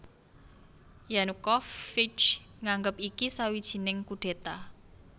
Yanukovych nganggep iki sawijining kudéta